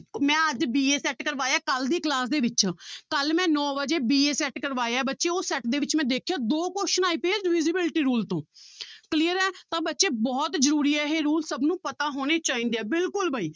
ਮੈਂ ਅੱਜ b a set ਕਰਵਾਇਆ ਕੱਲ੍ਹ ਦੀ class ਦੇ ਵਿੱਚ ਕੱਲ੍ਹ ਮੈਂ ਨੋਂ ਵਜੇ b a set ਕਰਵਾਇਆ ਬੱਚੇ ਉਹ set ਦੇ ਵਿੱਚ ਮੈਂ ਦੇਖਿਆ ਦੋ question ਆਏ ਪਏ ਆ divisibility rule ਤੋਂ clear ਹੈ ਤਾਂ ਬੱਚੇ ਬਹੁਤ ਜ਼ਰੂਰੀ ਹੈ ਇਹ rule ਸਭ ਨੂੰ ਪਤਾ ਹੋਣੇੇ ਚਾਹੀਦੇ ਹੈ ਬਿਲਕੁਲ ਬਾਈ